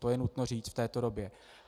To je nutno říct v této době.